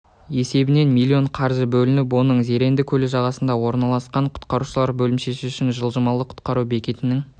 есебінен миллион қаржы бөлініп оның зеренді көлі жағасында орналасқан құтқарушылар бөлімшесі үшін жылжымалы құтқару бекетінің